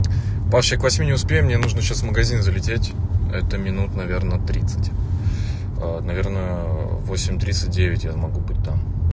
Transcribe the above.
вообще к восьми не успею мне нужно сейчас в магазин залететь это минут наверное тридцать наверное в восемь тридцать девять я могу быть там